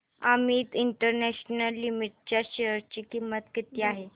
Amit international limited च्या share ची किंमत किती आहे